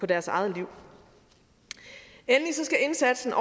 deres eget liv endelig skal indsatsen